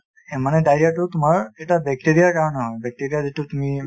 মানে diarrhea টো তোমাৰ এটা bacteria ৰ কাৰনে হয় , bacteria যিটো তুমি ,